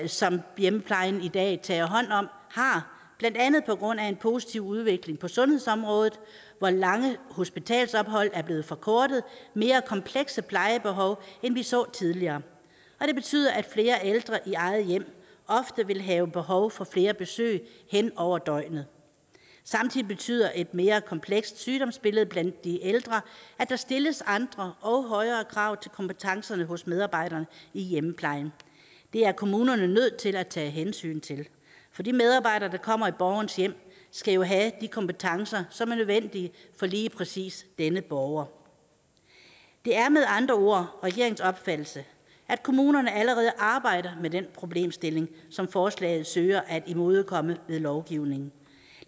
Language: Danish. som hjemmeplejen i dag tager hånd om har blandt andet på grund af en positiv udvikling på sundhedsområdet hvor lange hospitalsophold er blevet forkortet mere komplekse plejebehov end vi så tidligere og det betyder at flere ældre i eget hjem ofte vil have behov for flere besøg hen over døgnet samtidig betyder et mere komplekst sygdomsbillede blandt de ældre at der stilles andre og højere krav til kompetencerne hos medarbejderne i hjemmeplejen det er kommunerne nødt til at tage hensyn til for de medarbejdere der kommer i borgerens hjem skal jo have de kompetencer som er nødvendige for lige præcis denne borger det er med andre ord regeringens opfattelse at kommunerne allerede arbejder med den problemstilling som forslaget søger at imødekomme med lovgivning